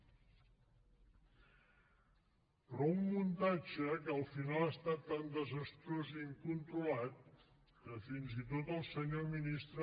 però un muntatge que al final ha estat tan desastrós i incontrolat que fins i tot el senyor ministre